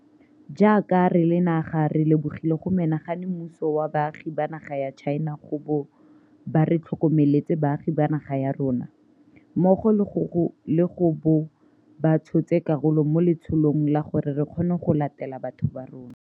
Jaaka re le naga re lebogile go menagane mmuso wa baagi ba naga ya China go bo ba re tlhokomeletse baagi ba naga ya rona, mmogo le go bo ba tshotse karolo mo letsholong la gore re kgone go latela batho ba rona.